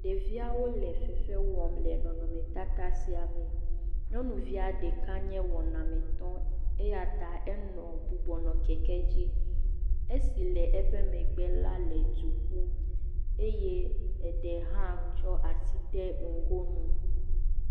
Ɖevia wole fefe wɔm le nɔnɔme tata sia me. Nyɔnuvia ɖeka nye wɔnamitɔ eyata enɔ bubunɔ keke dzi. Esi le eƒe megbe la le duƒum eye eɖe hã tso asi ɖe nugo nu.